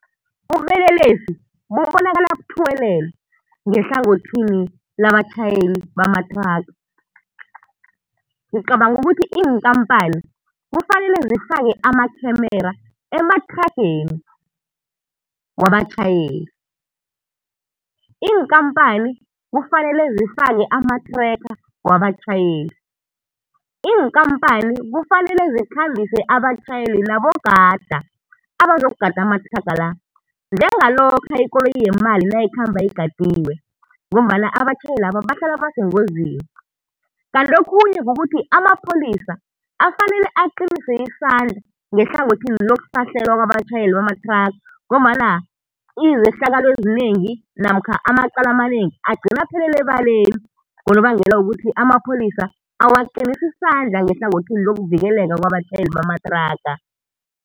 Ubelelesi bubonakala buthuwelela ngehlangothini labatjhayeli bamathraga. Ngicabanga ukuthi iinkampani kufanele zifake amakhemera emathrageni wabatjhayeli. Iinkampani kufanele zifake amathrekha wabatjhayeli. Iinkampani kufanele zikhambise abatjhayeli nabogada, abazokugada amathraga la njengalokha ikoloyi yemali nayikhamba igadiwe, ngombana abatjhayelaba bahlala basengozini. Kanti okhunye kukuthi amapholisa, afanele aqinise isandla ngehlangothini lokusahlelwa kwabatjhayeli bamathraga ngombana izehlakalo ezinengi namkha amacala amanengi agcina aphelela ebaleni ngonobangela wokuthi amapholisa awaqinisi isandla ngehlangothini lokuvikeleka kwabatjhayeli bamathraga.